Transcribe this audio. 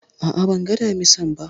A'a, ban ga Damisan ba